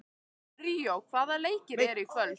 Ríó, hvaða leikir eru í kvöld?